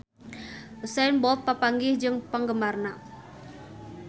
Usain Bolt papanggih jeung penggemarna